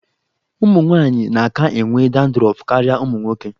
Ụmụ nwaanyị na-aka enwe dandrọf karịa ụmụ nwoke.